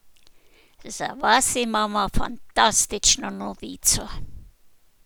Za vas imamo fantastično novico!